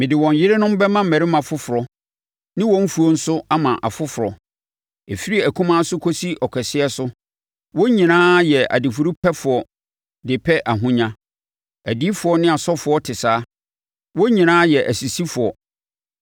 Mede wɔn yerenom bɛma mmarimma foforɔ ne wɔn mfuo nso ama afoforɔ. Ɛfiri akumaa so kɔsi ɔkɛseɛ so, wɔn nyinaa yɛ adifudepɛfoɔ de pɛ ahonya; adiyifoɔ ne asɔfoɔ te saa, wɔn nyinaa yɛ asisifoɔ.